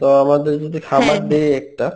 তো আমাদের যদি খামার দিই একটা